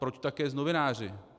Proč také s novináři?